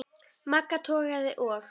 Magga togaði og